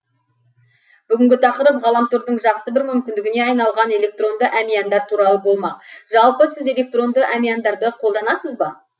бүгінгі тақырып ғаламтордың жақсы бір мүмкіндігіне айналған электронды әмияндар туралы болмақ жалпы сіз электронды әмияндарды қолданасыз ба